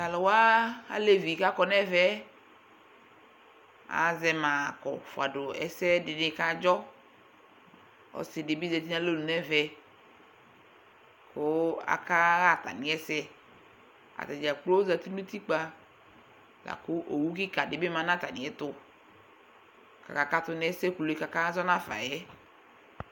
Tʋ alʋ wa, alevi kʋ akɔ nʋ ɛvɛ, azɛ ma kɔ fʋa dʋ ɛsɛ dɩnɩ kʋ adzɔ Ɔsɩ dɩ bɩ zati nʋ alɔnu nʋ ɛvɛ kʋ akaɣa atamɩ ɛsɛ Ata dza kplo zati nʋ utikpa la kʋ owu kɩka dɩ bɩ ma nʋ atamɩɛtʋ kʋ akakatʋ nʋ ɛsɛ kulu yɛ kʋ akazɔ nafa yɛ